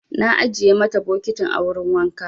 Na ajiye mata bokitin a wurin wanka.